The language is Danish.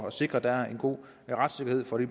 at sikre at der er en god retssikkerhed for de